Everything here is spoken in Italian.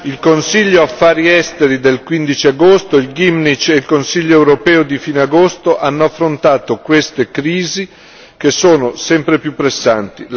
Il Consiglio Affari esteri del 15 agosto, il Gymnich e il Consiglio europeo di fine agosto hanno affrontato queste crisi che sono sempre più pressanti.